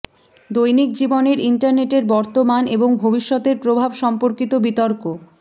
দৈনিক জীবনের ইন্টারনেটের বর্তমান এবং ভবিষ্যতের প্রভাব সম্পর্কিত বিতর্ক